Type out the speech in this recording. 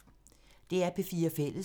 DR P4 Fælles